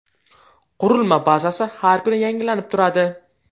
Qurilma bazasi har kuni yangilanib turadi.